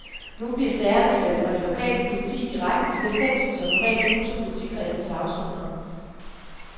Nu bliver sagerne sendt fra det lokale politi direkte til det fængsel, som normalt huser politikredsens afsonere.